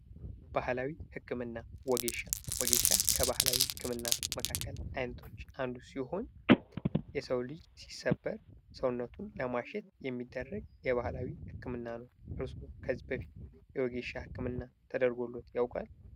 ባህላዊ ህክምና፦ ወጌሻ፦ ወጌሻ ከባህላዊ ህክምና መካከል አይነቶች አንዱ ሲሆን የሰው ልጅ ሲሰበር ሰውነቱን ለማሸት የሚደረግ የባህላዊ ህክምና ነው። እርስዎ ከዚህ በፊት የወጌሻ ህክምና ተደርጎለዎት ያውቃል።